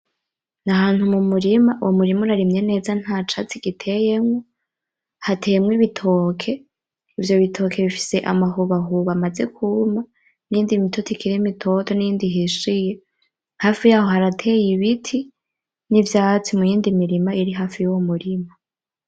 N'ahantu mumurima, umurima urarimye neza ntacatsi giteyemwo. Hateyemwo ibitoki, ivyo bitoke bifise amahobahoba amaze kuma niyindi mitoto ikiri mitoto niyindi ihishiye. Hafi yaho harateye ibiti, nivyatsi muyindi mirima iri hafi yuwo murima.